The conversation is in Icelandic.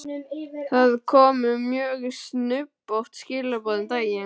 Það komu mjög snubbótt skilaboð um daginn.